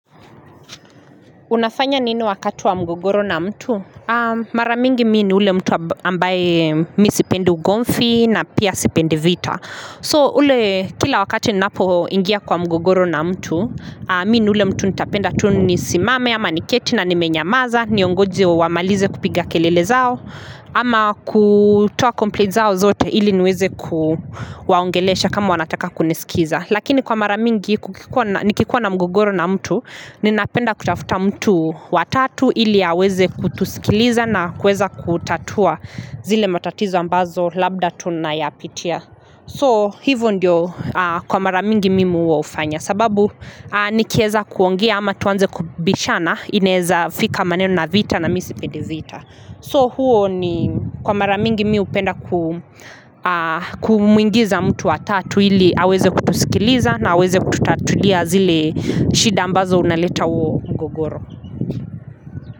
Unafanya nini wakati wa mgogoro na mtu? Maramingi mi ni ule mtu ambaye mi sipendi ugomvi na pia sipendi vita. So, ule kila wakati ninapo ingia kwa mgogoro na mtu, mi ni ule mtu nitapenda tu nisimame, ama ni keti na ni menyamaza, niongoje wa wamalize kupiga kelele zao, ama kutoa complains zao zote ili niweze kuwaongelesha kama wanataka kunisikiza. Lakini kwa mara mingi nikikuwa na mgogoro na mtu, Ninapenda kutafuta mtu wa tatu ili aweze kutusikiliza na kuweza kutatua zile matatizo ambazo labda tunayapitia So hivo ndio kwa mara mingi mimi huo hufanya sababu nikieza kuongea ama tuanze kubishana inaeza fika maneno na vita na mi sipendi vita so huo ni kwa mara mingi mi hupenda kumwingiza mtu wa tatu ili aweze kutusikiliza na aweze kutatulia zile shida ambazo unaleta huo mgogoro.